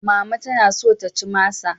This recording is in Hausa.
Mama tana so ta ci masa.